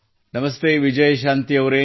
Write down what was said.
ನಮಸ್ತೆ ವಿಜಯ ಶಾಂತಿಯವರೆ